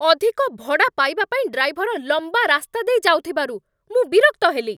ଅଧିକ ଭଡ଼ା ପାଇବା ପାଇଁ ଡ୍ରାଇଭର ଲମ୍ବା ରାସ୍ତା ଦେଇ ଯାଉଥିବାରୁ ମୁଁ ବିରକ୍ତ ହେଲି।